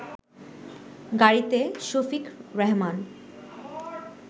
গাড়িতে শফিক রেহমান